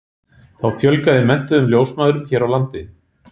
Þá fjölgaði menntuðum ljósmæðrum hér á landi.